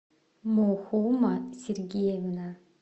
мохома сергеевна